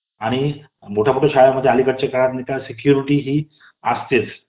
आणि मोठमोठ्या शाळांमध्ये अलीकडच्या काळात सेक्युरिटी हि असतेच .